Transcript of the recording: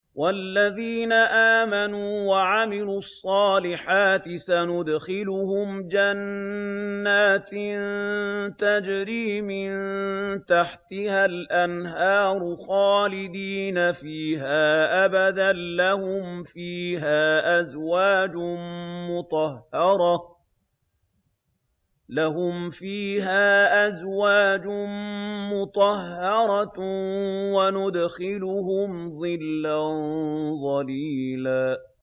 وَالَّذِينَ آمَنُوا وَعَمِلُوا الصَّالِحَاتِ سَنُدْخِلُهُمْ جَنَّاتٍ تَجْرِي مِن تَحْتِهَا الْأَنْهَارُ خَالِدِينَ فِيهَا أَبَدًا ۖ لَّهُمْ فِيهَا أَزْوَاجٌ مُّطَهَّرَةٌ ۖ وَنُدْخِلُهُمْ ظِلًّا ظَلِيلًا